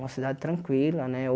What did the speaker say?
Uma cidade tranquila, né?